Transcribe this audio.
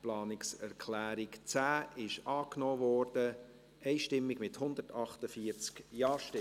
Sie haben die Planungserklärung 11 einstimmig angenommen, mit 139 Ja- gegen 9 NeinStimmen bei 0 Enthaltungen.